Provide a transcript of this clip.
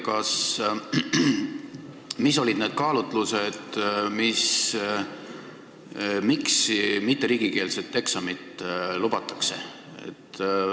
Aga mis olid need kaalutlused, miks mitteriigikeelset eksamit lubatakse?